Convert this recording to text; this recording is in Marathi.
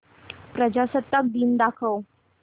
प्रजासत्ताक दिन दाखव